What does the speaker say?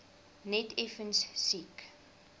net effens siek